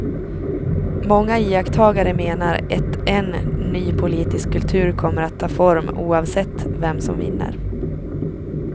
Många iakttagare menar ett en ny politisk kultur kommer att ta form oavsett vem som vinner.